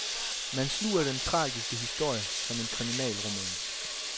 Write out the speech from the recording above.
Man sluger den tragiske historie som en kriminalroman.